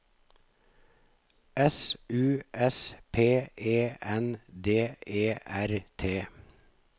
S U S P E N D E R T